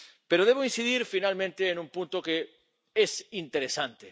Pero debo incidir finalmente en un punto que es interesante.